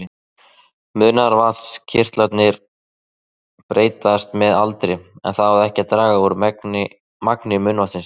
Munnvatnskirtlarnir breytast með aldri en það á ekki að draga úr magni munnvatnsins.